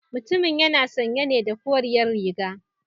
Mutumun yana sanye ne da koriyar riga